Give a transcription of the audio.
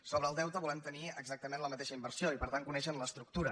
sobre el deute volem tenir exactament la mateixa informació i per tant conèixer ne l’estructura